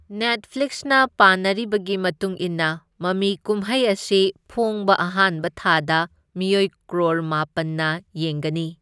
ꯅꯦꯠꯐ꯭ꯂꯤꯛꯁꯅ ꯄꯥꯅꯔꯤꯕꯒꯤ ꯃꯇꯨꯡ ꯏꯟꯅ, ꯃꯃꯤꯀꯨꯝꯍꯩ ꯑꯁꯤ ꯐꯣꯡꯕ ꯑꯍꯥꯟꯕ ꯊꯥꯗ ꯃꯤꯑꯣꯏ ꯀ꯭ꯔꯣꯔ ꯃꯥꯄꯜꯅ ꯌꯦꯡꯒꯅꯤ꯫